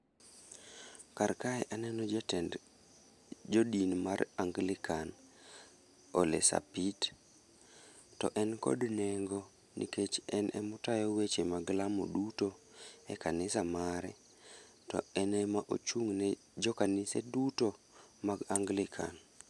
Kar kae aneno jatend jodin mar Angilikan Ole Sapit. To en kod nengo, nikech en ema otayo weche mag lamo duto e kanisa mare. To en ema ochung' ne jokanise duto mag Angilikan.